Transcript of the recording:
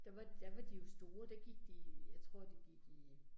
Der var der var de jo store, der gik de, jeg tror de gik i